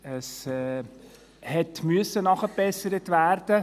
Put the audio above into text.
Es musste nachgebessert werden.